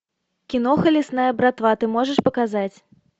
киноха лесная братва ты можешь показать